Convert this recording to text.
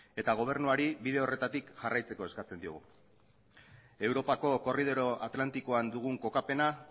eta gobernuari bide horretatik jarraitzeko eskatzen diogu europako korridore atlantikoan dugun kokapena